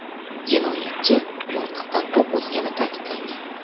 Jinoyatchi miltiqdan o‘q uzgani ta’kidlangan.